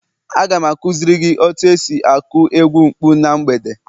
Aga m akuziri gi otu esi aku egwu mkpu na mgbede